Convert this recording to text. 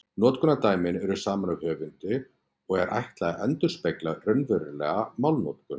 Notkunardæmin eru samin af höfundi og er ætlað að endurspegla raunverulega málnotkun.